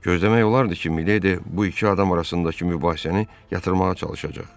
Gözləmək olardı ki, Miledi bu iki adam arasındakı mübahisəni yatırmağa çalışacaq.